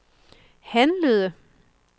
handlede